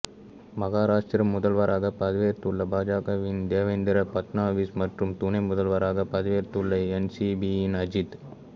மகாராஷ்டிர முதல்வராக பதவியேற்றுள்ள பாஜகவின் தேவேந்திர ஃபட்னாவிஸ் மற்றும் துணை முதல்வராக பதவியேற்றுள்ள என்சிபியின் அஜித்